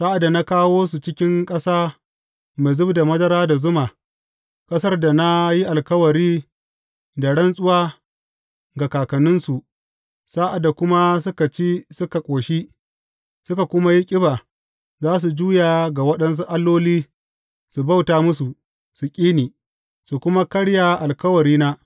Sa’ad da na kawo su cikin ƙasa mai zub da madara da zuma, ƙasar da na yi alkawari da rantsuwa ga kakanninsu, sa’ad da kuma suka ci suka ƙoshi, suka kuma yi ƙiba, za su juya ga waɗansu alloli su bauta musu, su ƙi ni, su kuma karya alkawarina.